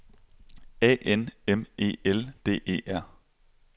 A N M E L D E R